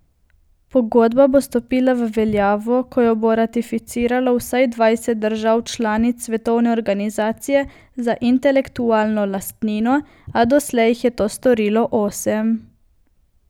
Pogodba bo stopila v veljavo, ko jo bo ratificiralo vsaj dvajset držav članic Svetovne organizacije za intelektualno lastnino, a doslej jih je to storilo osem.